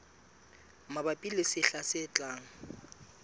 mabapi le sehla se tlang